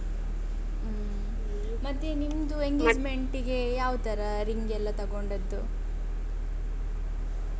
ಹ್ಮ್ಂ ಮತ್ತೆ ನಿಮ್ದು engagement ಗೆ ಯಾವ ತರ ring ಎಲ್ಲ ತಗೊಂಡದ್ದು?